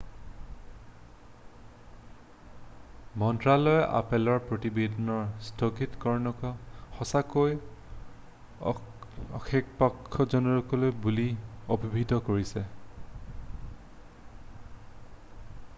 মন্ত্ৰালয়ে আপেলৰ প্ৰতিবেদনৰ স্থগিতকৰণক সঁচাকৈ আক্ষেপজনক বুলি অভিহিত কৰিছে